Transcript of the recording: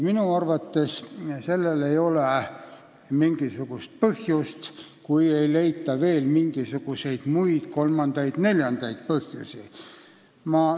Minu arvates ei ole mingisugust põhjust nii arvata, kui ei leita veel muid, kolmandaid-neljandaid põhjusi.